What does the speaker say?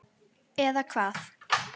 Eða Hvað?